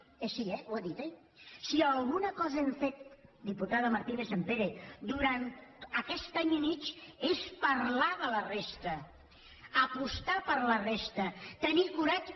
sí ho ha dit oi si alguna cosa hem fet diputada martínez sampere durant aquest any i mig és parlar de la resta apostar per la resta tenir coratge